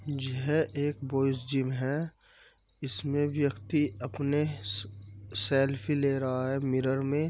यह एक boys gym है। इसमें व्यक्ति अपने से सेल्फी ले रहा है मिरर में।